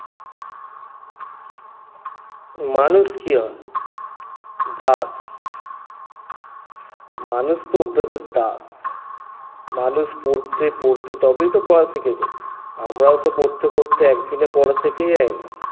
মানুষ কী হয়? দাস মানুষ তো অভ্যাসের দাস মানুষ পড়তে পড়তে তবেই তো পড়া শিখে যায় আমরাও তো পড়তে পড়তে একদিনে পড়া শিখে যাই না